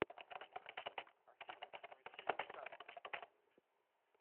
афина включи шанти